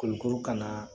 Kulukoro ka na